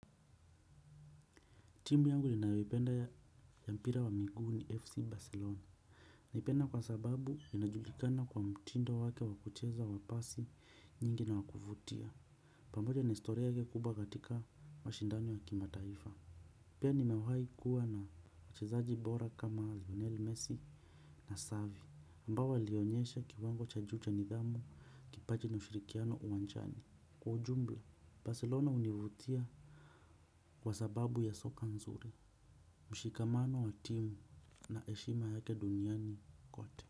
Timu yangu ninayoipenda ya mpira wa miguu ni FC Barcelona. Naipenda kwa sababu inajulikana kwa mtindo wake wa kucheza wa pasi nyingi na wakuvutia. Pamoja na historia ile kubwa katika mashindani ya kimataifa pia nimewahi kuwa na wachezaji bora kama Lionel Messi na Xavi ambao walionyesha kiwango cha juu cha nidhamu kipaji na ushirikiano uwanjani. Kwa ujumla Barcelona hunivutia kwa sababu ya soka nzuri. Mshikamano wa timu na heshima yake duniani kote.